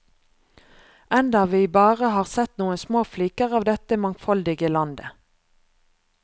Enda vi bare har sett noen små fliker av dette mangfoldige landet.